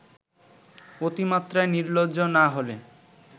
অতি মাত্রায় নির্লজ্জ না হলে